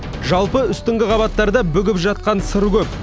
жалпы үстіңгі қабаттарда бүгіп жатқан сыр көп